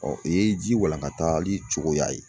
o ye ji walankatali cogoya ye